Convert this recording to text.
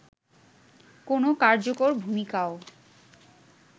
কোন কার্যকর ভুমিকাও